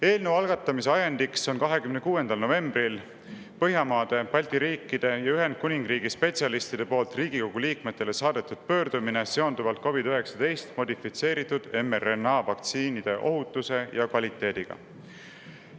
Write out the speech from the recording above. Eelnõu algatamise ajend on 26. novembril Põhjamaade, Balti riikide ja Ühendkuningriigi spetsialistide poolt Riigikogu liikmetele saadetud pöördumine seonduvalt COVID-19 modifitseeritud mRNA vaktsiinide ohutuse ja kvaliteediga.